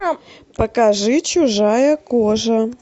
покажи чужая кожа